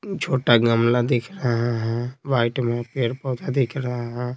छोटा गमला दिख रहा है वाइट में पेड़-पौधा दिख रहा है।